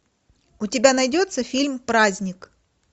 у тебя найдется фильм праздник